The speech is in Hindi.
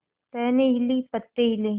टहनी हिली पत्ते हिले